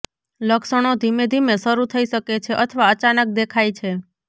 લક્ષણો ધીમે ધીમે શરૂ થઈ શકે છે અથવા અચાનક દેખાય છે